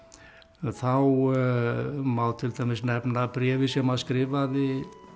þá má til dæmis nefna bréfið sem hann skrifaði